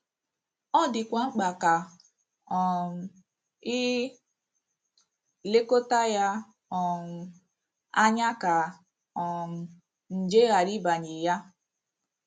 Ọ dịkwa mkpa ka um i lekọta ya um anya ka um nje ghara ịbanye ya.